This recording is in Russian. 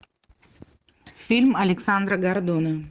фильм александра гордона